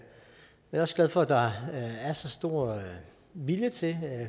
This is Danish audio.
er også glad for at der er så stor vilje til